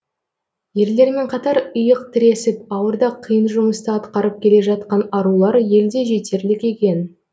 ерлермен қатар иық тіресіп ауыр да қиын жұмысты атқарып келе жатқан арулар елде жетерлік екен